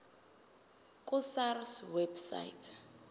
ku sars website